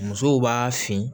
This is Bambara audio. Musow b'a fin